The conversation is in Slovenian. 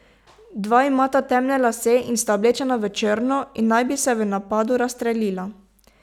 Dva imata temne lase in sta oblečena v črno in naj bi se v napadu razstrelila.